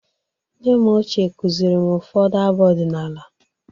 Nne m ochie kụzịrị m ụfọdụ abụ ọdịnala.